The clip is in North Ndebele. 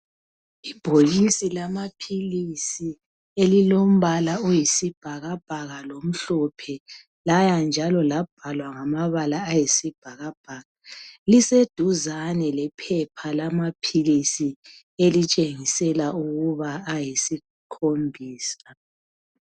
Ibhokisi lamaphilisi elilombala oyisibhakabhaka lomhlophe laya njalo labhalwa ngamabala ayisibhakabhaka. Liseduzane lephepha lamaphilisi elitshengisela ukuba ayisikhombisa.